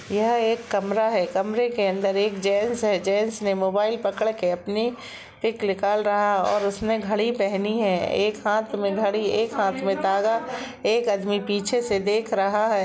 यह एक कमरा है कमरे के अंदर एक जेंट्स है जेंट्स ने मोबाइल पकड़ के अपनी पिक निकाल रहा ओर उसने घड़ी पहनी है एक हाथ में घडी एक हाथ में धागा एक आदमी पीछे से देख रहा हैं।